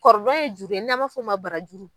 ye juru ye n'a ma f'o ma barajuru.